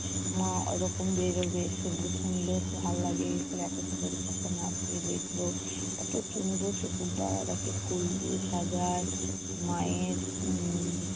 মা ওরকম বেরুবে। শুনলেও খুব ভালো লাগে। খালি অপেক্ষা করি কখন আসবে দেখবো। ফুল দিয়ে সাজায়। মায়ের উম